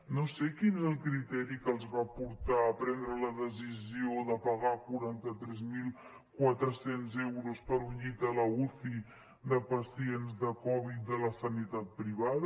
no sé quin era el criteri que els va portar a prendre la decisió de pagar quaranta tres mil quatre cents euros per un llit a la uci de pacients de covid de la sanitat privada